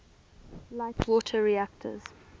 light water reactors